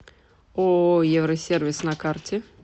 ооо евросервис на карте